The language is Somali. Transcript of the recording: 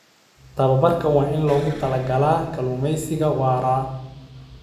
Tababarka waa in loogu talagalay kalluumeysiga waara.